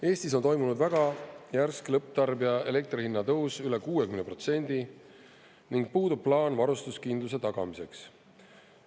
Eestis on toimunud väga järsk lõpptarbija elektrihinna tõus üle 60% ning puudub plaan varustuskindluse tagamiseks.